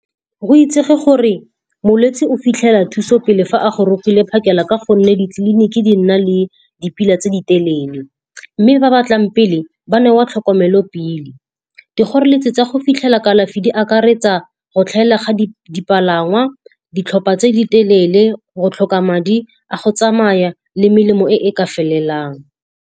Go itsege gore molwetse o fitlhela thuso pele fa a gorogile phakela ka gonne ditleliniki di nna le dipila tse di telele. Mme ba batlang pele, ba newa tlhokomelo pele. Dikgoreletsi tsa go fitlhela kalafi di akaretsa go tlhaela ga dipalangwa, ditlhopha tse di telele, go tlhoka madi a go tsamaya, le melemo e e ka felelang.